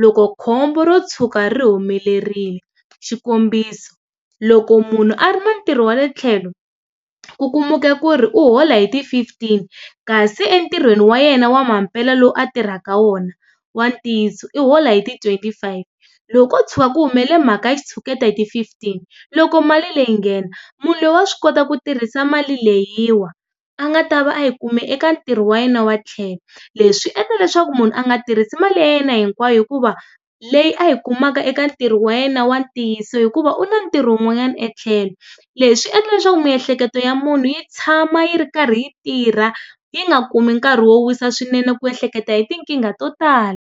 Loko khombo ro tshuka ri humelerile xikombiso, loko munhu a ri na ntirho wa le tlhelo, ku kumeka ku ri u hola hi ti fifteen, kasi entirhweni wa yena wa mampela lowu a tirhaka wona wa ntiyiso i hola hi ti twenty five, loko ko tshwa ku humele mhaka ya xitshuketa hi ti fifteen, loko mali leyi nghena, munhu loyi wa swi kota ku tirhisa mali leyiwa a nga ta va a yi kume eka ntirho wa yena wa le tlhelo. Leswi endla leswaku munhu a nga tirhisi mali ya yena hinkwayo hikuva leyi a yi kumaka eka ntirho wa yena wa ntiyiso hikuva u na na ntirho wun'wanyana e tlhelo. Leswi swi endla leswaku miehleketo ya munhu yi tshama yi ri karhi yi tirha, yi nga kumi nkarhi wo wisa swinene ku ehleketa hi tinkingha to tala.